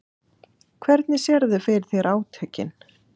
Hvernig sérðu fyrir þér átökin?